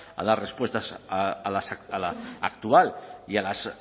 a dar respuestas a la actual y a las